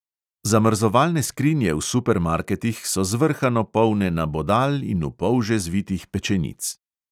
Zamrzovalne skrinje v supermarketih so zvrhano polne nabodal in v polže zvitih pečenic.